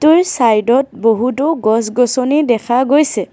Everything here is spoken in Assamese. আৰু চাইডত বহুতো গছ গছনি দেখা গৈছে।